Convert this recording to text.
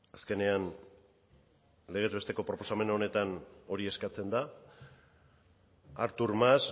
azkenean legez besteko proposamen honetan hori eskatzen da artur mas